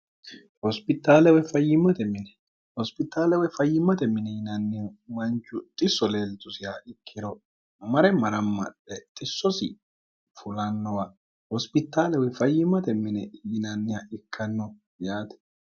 hositalw fyimmote minihospitaale woy fayyimmote mini yinannihu manchu xi so leeltusiha ikkiro amare maramma lexxissosi fulannowa hospitaale wefayyimmote mini yinanniha ikkanno yaati